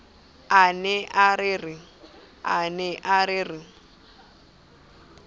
a ne a re re